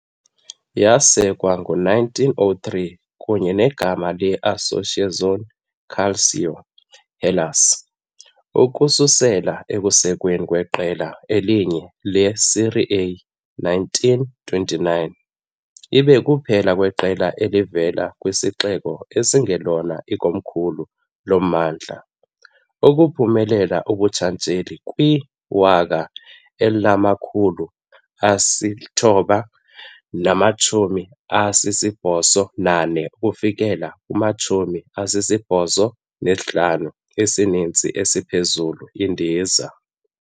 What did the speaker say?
Yasekwa ngo-1903 kunye negama le- "Associazione Calcio Hellas", ukususela ekusekweni kweqela "elinye le-"Serie A, 1929, ibe kuphela kweqela elivela kwisixeko esingelona ikomkhulu lommandla ukuphumelela ubuntshatsheli kwi-1984--85 isizini ephezulu-indiza.